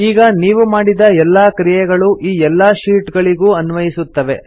ಈಗ ನೀವು ಮಾಡಿದ ಎಲ್ಲಾ ಕ್ರಿಯೆಗಳೂ ಈ ಎಲ್ಲಾ ಶೀಟ್ ಗಳಿಗೂ ಅನ್ವಯಿಸುತ್ತವೆ